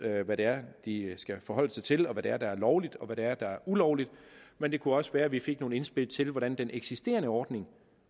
hvad det er de skal forholde sig til hvad det er der er lovligt og hvad det er der er ulovligt men det kunne også være vi fik nogle indspil til hvordan den eksisterende ordning